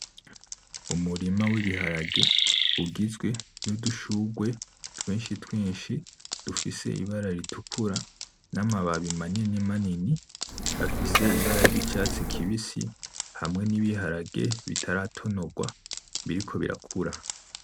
Umurima w'ibiharage ugizwe n'udushugwe twinshi twinshi, dufise ibara ritukura, n'amababi manini manini afise ibara ry'icatsi kibisi, hamwe n'ibiharage bitaratonogwa, biriko birakura.